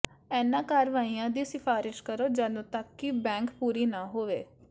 ਇਨ੍ਹਾਂ ਕਾਰਵਾਈਆਂ ਦੀ ਸਿਫਾਰਸ਼ ਕਰੋ ਜਦੋਂ ਤੱਕ ਕਿ ਬੈਂਕ ਪੂਰੀ ਨਾ ਹੋਵੇ